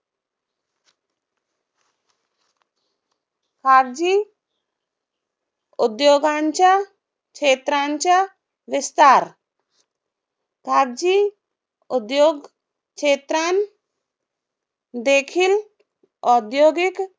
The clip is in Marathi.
खाजगी उद्योगांच्या खेत्रांचा विस्तार. खाजगी उद्योग क्षेत्रांत देखील औद्योगिक